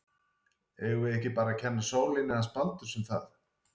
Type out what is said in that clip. Eigum við ekki bara að kenna sólinni hans Baldurs um það?